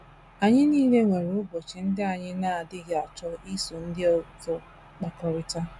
Anyị nile nwere ụbọchị ndị anyị na - adịghị achọkebe iso ndị ọzọ akpakọrịta.